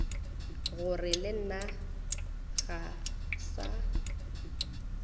gore le nna ga sa